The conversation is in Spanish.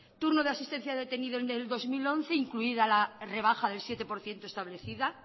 turno de asistencia al detenido en el dos mil once incluida la rebaja del siete por ciento establecida